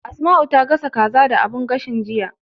Asma'u ta gasa kaza da sabon abun gashin, jiya.